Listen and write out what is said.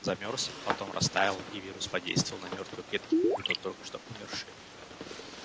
замёрз потом растаял и вирус подействовал на мёртвые клетки будто на только что умершие